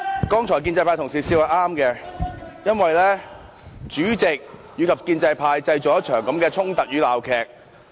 剛才建制派同事笑是正確的，因為主席及建制派製造出這場衝突與鬧劇。